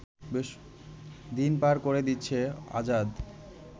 দিন পার করে দিচ্ছে আজাদ